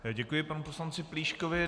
Děkuji panu poslanci Plíškovi.